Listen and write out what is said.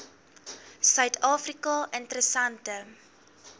suid afrika interessante